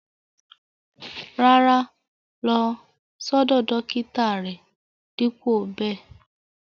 Rárá, lọ̀ sọdọ̀ dọkítà rè dípo bè.